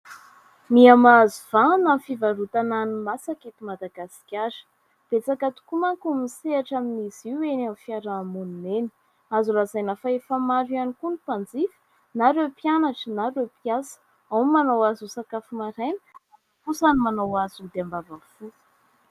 Miha mahazo vahana ny fivarotana hanimasaka eto Madagasikara. Betsaka tokoa manko ny misehatra amin'izy io eny amin'ny fiarahamonina eny. Azo lazaina fa efa maro ihany koa ny mpanjifa, na ireo mpianatra na ireo mpiasa. Ao ny manao azy ho sakafo maraina, ao kosa ny manao azy ho ody ambavafo.